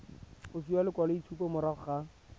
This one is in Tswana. go fiwa lekwaloitshupo morago ga